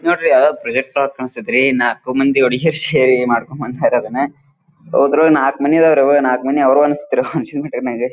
ಅಹ್ ಇದು ನೋಡ್ರಿ ಯಾವುದೊ ಪ್ರಾಜೆಕ್ಟ್ ವರ್ಕ್ ಅನ್ನಿಸ್ತೈತಿ ನಾಕು ಮಂದಿ ಹುಡುಗಿಯರು ಸೇರಿ ಮಾಡಿಕೊಂಡು ಬಂದಿದ್ದಾರೆ ಅದನ್ನ .]